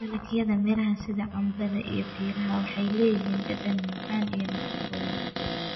Dalagyada miraha sida canbada iyo piira waxay leeyihiin dhadhan macaan iyo nafaqooyin.